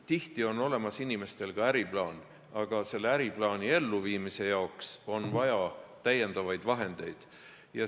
Tihti on olemas inimestel ka äriplaan, aga selle äriplaani elluviimise jaoks on vaja täiendavaid vahendeid.